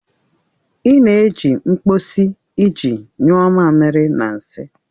Ị na-eji mkposi iji nyuo mamiri na nsị